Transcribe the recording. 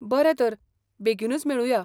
बरें तर, बेगीनूच मेळुया.